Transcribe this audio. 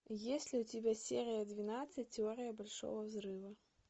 есть ли у тебя серия двенадцать теория большого взрыва